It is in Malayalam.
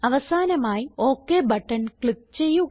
അവസാനമായി ഒക് ബട്ടൺ ക്ലിക്ക് ചെയ്യുക